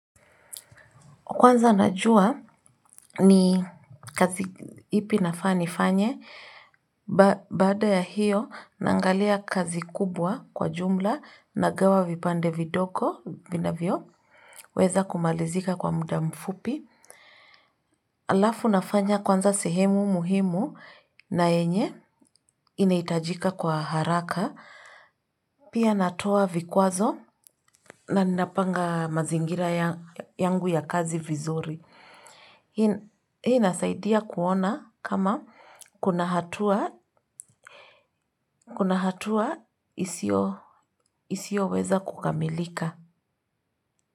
Kwanza najua ni kazi ipi nafaa nifanye, baada ya hiyo, naangalia kazi kubwa kwa jumla nagawa vipande vidogo, vinavyo weza kumalizika kwa muda mfupi. Alafu nafanya kwanza sehemu muhimu na yenye inahitajika kwa haraka. Pia natoa vikwazo na napanga mazingira yangu ya kazi vizuri. Hii nasaidia kuona kama kuna hatua isio weza kukamilika.